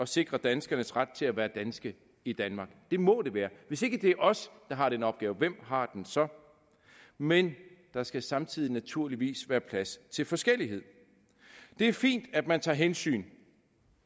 sikre danskernes ret til at være danske i danmark det må det være hvis ikke det er os der har den opgave hvem har den så men der skal samtidig naturligvis være plads til forskellighed det er fint at man tager hensyn